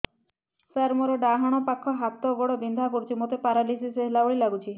ସାର ମୋର ଡାହାଣ ପାଖ ହାତ ଗୋଡ଼ ବିନ୍ଧା କରୁଛି ମୋତେ ପେରାଲିଶିଶ ହେଲା ଭଳି ଲାଗୁଛି